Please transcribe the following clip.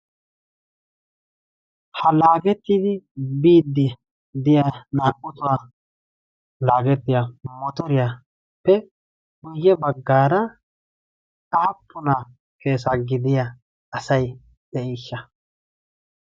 ha laagettidi biddi diya naa77u tohuwaa laagettiya motoriyaappe guyye baggaara aappuna keesa gidiya asai de7iishsha?